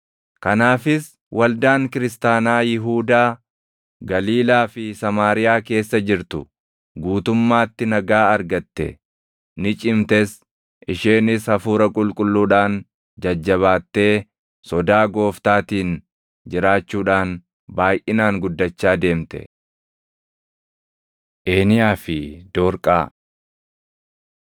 Kanaafis waldaan kiristaanaa Yihuudaa, Galiilaa fi Samaariyaa keessa jirtu guutummaatti nagaa argatte; ni cimtes. Isheenis Hafuura Qulqulluudhaan jajjabaatee sodaa Gooftaatiin jiraachuudhaan baayʼinaan guddachaa deemte. Eeniyaa fi Doorqaa